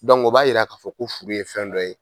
o b'a yira k'a fɔ ko furu ye fɛn dɔ ye.